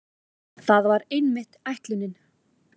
Það var einmitt ætlunin.